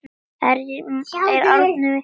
Þar voru haldin böll.